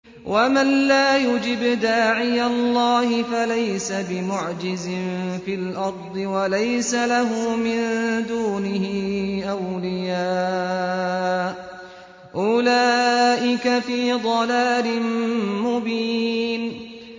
وَمَن لَّا يُجِبْ دَاعِيَ اللَّهِ فَلَيْسَ بِمُعْجِزٍ فِي الْأَرْضِ وَلَيْسَ لَهُ مِن دُونِهِ أَوْلِيَاءُ ۚ أُولَٰئِكَ فِي ضَلَالٍ مُّبِينٍ